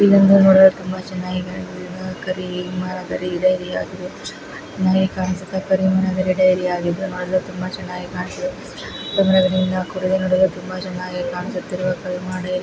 ಇದೊಂದು ನೋಡಲು ತುಂಬಾ ಚೆನ್ನಾಗಿ ಕಾಣಿಸುತ್ತಿದೆ ಕರಿ ಗಿಡ ಕರಿ ಮರ ಗಿಡ ಇದಾಗಿದೆ. ಮನೆ ಕಾಣಿಸುತ್ತಾ ಕರಿಮನೆಗಡ ಏರಿಯಾ ಆಗಿದ್ದು ನೋಡಲು ತುಂಬಾ ಚೆನ್ನಾಗಿ ಕಾಣಿಸು ಗಿಡ ಮರಗಳಿಂದ ಕೂಡಿದ್ದು ನೋಡಲು ತುಂಬಾ ಚೆನ್ನಾಗಿ ಕಾಣಿಸುತ್ತಿರುವ ಕಲ್ಮನ್ ಏರಿಯಾ --